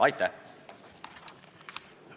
Aitäh!